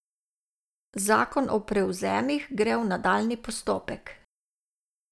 Zakon o prevzemih gre v nadaljnji postopek.